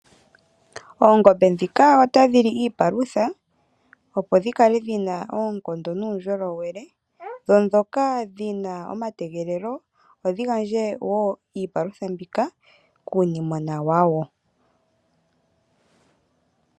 Oongombe ndhika otadhi li iipalutha, opo dhi kale dhi na oonkondo nuundjolowele. Dho ndhoka oosimba opo dhi gandje wo iipalutha mbika kuunimwena wadho.